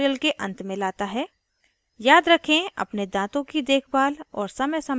* फिर इस दातून को प्राकृतिक brush की तरह उपयोग किया जा सकता है